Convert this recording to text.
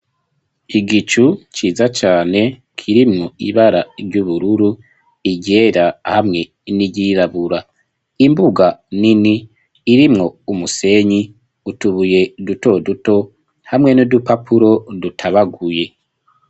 Igicu ciza cane kirimwo ibara ry'ubururu iryera hamwe n'iryirabura imbuga nini irimwo umusenyi utubuye duto duto hamwe n'udupapuro dutabaguye.